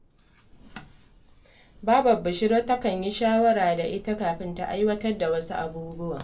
Babar Bishira takan yi shawara da ita kafin ta aiwatar da wasu abubuwan